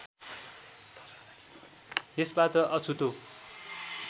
यसबाट अछुतो